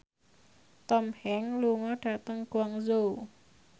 Tom Hanks lunga dhateng Guangzhou